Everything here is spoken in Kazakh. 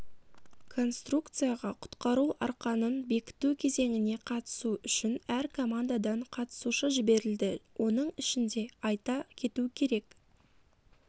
конструкцияға құтқару арқанын бекіту кезеңіне қатысу үшін әр командадан қатысушы жіберілді оның ішінде айта кету керек